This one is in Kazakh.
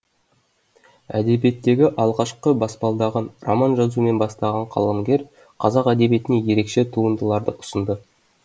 әдебиеттегі алғашқы баспалдағын роман жазумен бастаған қаламгер қазақ әдебиетіне ерекше туындыларды ұсынды